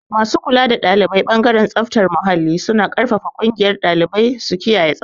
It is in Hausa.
Masu kula da ɗalibai ɓangaren tsaftar muhalli suna ƙarfafa ƙungiyar ɗalibai su kiyaye tsabta.